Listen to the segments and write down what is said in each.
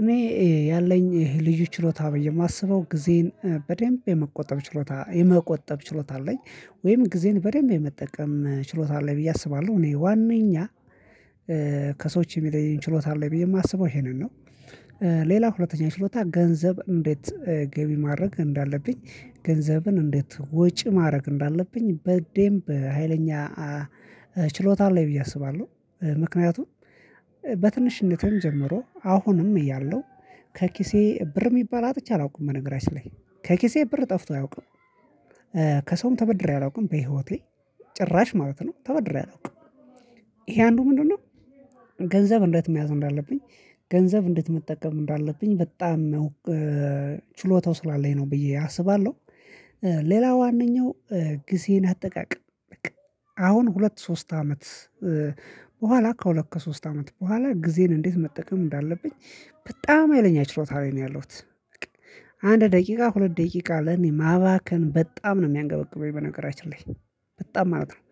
እኔ ያለኝ ልዩ ችሎታ ብዬ የማስበው ጊዜን በደንብ የመቆጠብ ችሎታ የመቆጠብ ችሎታ አለኝ ወይም ጊዜን በደንብ የመጠቀም ችሎታ አለኝ ብዬ አስባለሁ እኔ ዋናኛ ከሰዎች የሚለየኝ ችሎታ አለብኝ የማስበው ይሄንን ነው። ሌላ ሁለተኛ ችሎታ ገንዘብ እንዴት ገቢ ማድረግ እንዳለብኝ ገንዘብን እንዴት ወጪ ማድረግ እንዳለብኝ በደንብ ሀይለኛ ችሎታ ላይ ብዬ አስባለሁ። ምክንያቱም በትንሽነቴም ጀምሮ አሁንም እያለሁ ከኪሴ ብር የሚባል አጥቼ አላውቅም። በነገራችን ላይ ከኪሴ ብር ጠፍቶ አያውቅም። ከሰውም ተበድሬ አላውቅም በህይወቴ ጭራሽ ማለት ነው ተበድሬ አላውቅም። ይሄ አንዱ ምንድነው? ገንዘብ እንዴት መያዝ እንዳለብኝ ገንዘብ እንዴት መጠቀም እንዳለብኝ በጣም ችሎታው ስላለኝ ነው ብዬ አስባለሁ። ሌላ ዋናኛው ጊዜን አጠቃቀም በቃ አሁን ሁለት ሶስት አመት በኋላ ከሁለት ከሶስት አመት በኋላ ጊዜን እንዴት መጠቀም እንዳለብኝ በጣም ሀይለኛ ችሎታ ላይ ነው ያለሁት። አንድ ደቂቃ ሁለት ደቂቃ ለኔ ማባከን በጣም ነው የሚያንገበግበኝ በነገራችን ላይ በጣም ማለት ነው።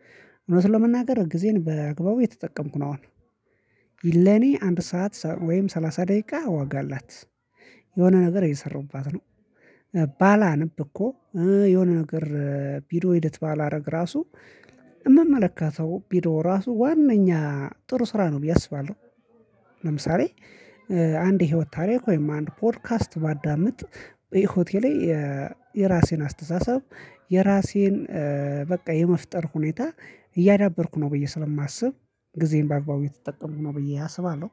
እውነት ለመናገር ጊዜን በአግባቡ እየተጠቀምኩ አሁን ለኔ አንድ ሰዓት ወይም ሰላሳ ደቂቃ ዋጋ አላት። የሆነ ነገር እየሰሩባት ነው። ባላነብ እኮ የሆነ ነገር ቪዲዮ ኤዲት ባላደረግ ራሱ የምመለከተው ቪድዮ ራሱ ዋንኛ ጥሩ ስራ ነው ብዬ አስባለሁ። ለምሳሌ አንድ የህይወት ታሪክ ወይም አንድ ፖድካስት ባዳምጥ በህይወቴ ላይ የራሴን አስተሳሰብ የራሴን በቃ የመፍጠር ሁኔታ እያዳበርኩ ነው ብዬ ስለማስብ ጊዜን በአግባቡ የተጠቀምኩ ነው ብዬ አስባለሁ